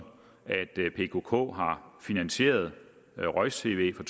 at pkk har finansieret roj tv fra